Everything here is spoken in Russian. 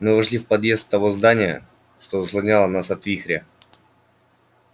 мы вошли в подъезд того здания что заслоняло нас от вихря